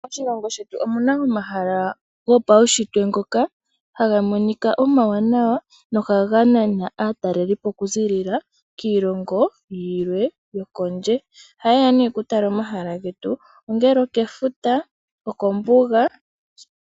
Moshilongo shetu omuna omahala gopawushitwe ngoka haga monika omawanawa no ha ga nana aatalelipo okuziilila kiilongo yilwe yokondje, oha ye ya nee okuala omahala getu, ongele okefuta, okombuga.